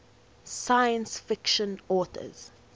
science fiction authors